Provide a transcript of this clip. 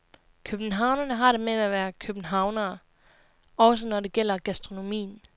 Københavnere har det med at være københavnere, også når det gælder gastronomien.